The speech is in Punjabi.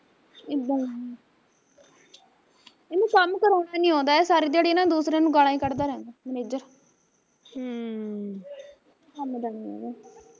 ਏਦਾਂ ਈ ਇਹਨੂੰ ਕੰਮ ਕਰਾਉਣਾ ਨੀ ਆਉਂਦਾ ਏਹ ਸਾਰੀ ਦਿਆੜੀ ਨਾ ਦੂਸਰਿਆਂ ਨੂੰ ਗਾਲਾ ਈ ਕੱਢਦਾ ਰਹਿੰਦਾ ਮਨੇਜਰ ਹਮ ਕੰਮ ਦਾ ਨੀ ਹੈਗਾ